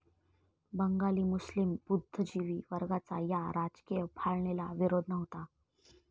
बंगाली मुस्लीम बुद्धिजीवी वर्गाचा या राजकीय फाळणीला विरोध नव्हता.